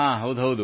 ಹೌದು ಹೌದು